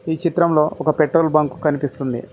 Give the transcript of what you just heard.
ఈ చిత్రంలో ఒక పెట్రోల్ బంకు కనిపిస్తుంది.